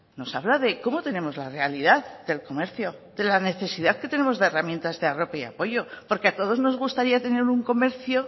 nos habla de cómo tenemos la realidad del comercio de la necesidad que tenemos de herramientas de red y apoyo porque a todos nos gustaría tener un comercio